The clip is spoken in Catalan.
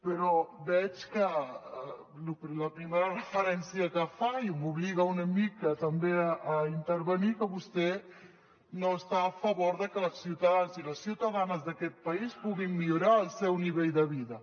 però veig que la primera referència que fa i m’obliga una mica també a intervenir que vostè no està a favor de que els ciutadans i les ciutadanes d’aquest país puguin millorar el seu nivell de vida